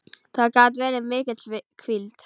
Það gat verið mikil hvíld.